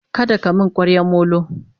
kada ka min kwaryan Molo!